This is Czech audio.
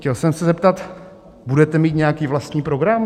Chtěl jsem se zeptat: Budete mít nějaký vlastní program?